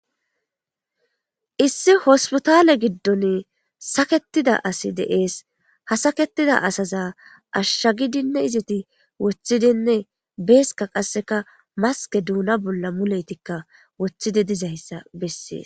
issi hospotale giddon saketida asi deees ha saketida asaza ashsha gidinne izeti woththidinne beeska qasseka maske duuna bolla muletikka woththidi dizayssa besseei